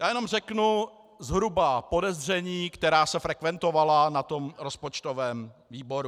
Já jenom řeknu zhruba podezření, která se frekventovala na tom rozpočtovém výboru.